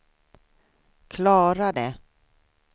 klarade